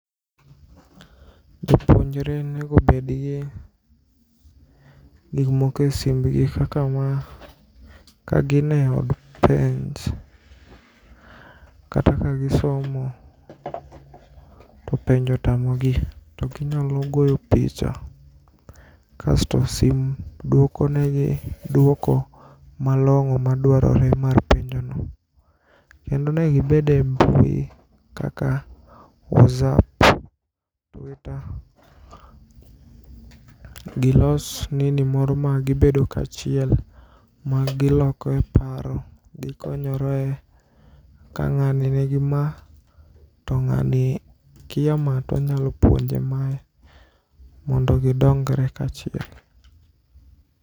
Jopuonjre nego obedgi gikmoko e simbgi kaka ma kagine od penj kata kagisomo topenjo otamogi toginyalo goyo picha kasto sim dwokonegi duoko malong'o maduarore mar penjono. Kendo onego gibede mbui kaka whatsapp, twitter, gilos nini moro magibedo kachiel magilokoe paro gikonyore ka ng'ani nigima to ng'ani kia maa tonyalo puonje mae mondo gidongre kachiel.